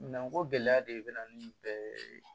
Nanko gɛlɛya de bɛ na ni bɛɛ ye